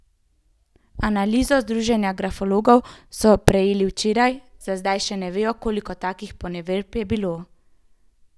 Analizo Združenja Grafologov so prejeli včeraj, za zdaj še ne vejo, koliko takih poneverb je bilo.